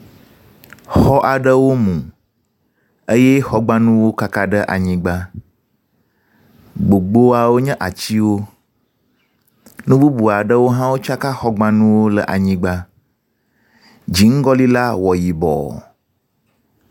Xɔ aɖewo mu eye xɔgbanuwo kaka ɖe anyigba, gbogboawo nye atiwo, nu bubu aɖewo hã wotsaka xɔwo ɖe anyigba. Dziŋgɔli la wɔ yibɔ.